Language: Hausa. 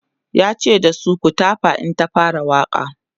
yace da su"ku tafa in ta fara Waƙa!"